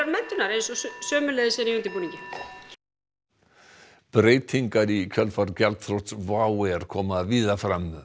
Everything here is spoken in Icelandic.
menntunar eins og sömuleiðis er í undirbúningi breytingar í kjölfar þrots WOW air koma víða fram